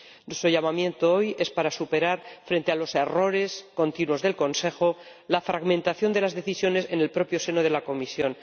Nuestro llamamiento hoy es para superar, frente a los errores continuos del Consejo, la fragmentación de las decisiones en el propio seno de la Comisión.